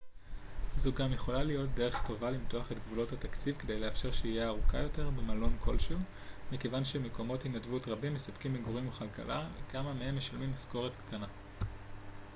זו גם יכולה להיות דרך טובה למתוח את גבולות התקציב כדי לאפשר שהייה ארוכה יותר במקום כלשהו מכיוון שמקומות התנדבות רבים מספקים מגורים וכלכלה וכמה מהם משלמים משכורת קטנה